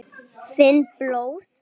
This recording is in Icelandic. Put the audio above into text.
Finn blóð.